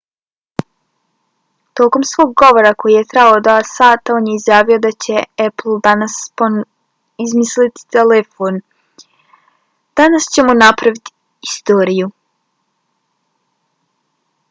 tokom svog govora koji je trajao 2 sata on je izjavio da će apple danas ponovo izmisliti telefon. danas ćemo napraviti istoriju.